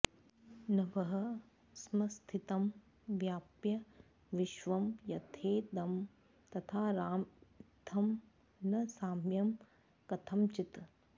नभः संस्थितं व्याप्य विश्वं यथेदं तथा राम इत्थं न साम्यं कथंचित्